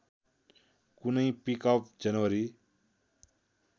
कुनै पिकअप जनवरी